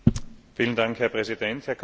Herr Präsident, Herr Kommissar!